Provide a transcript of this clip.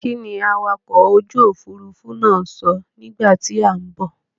Kíni awakọ̀ ojú òfuurufú náà sọ nígbà tí à ń bọ̀?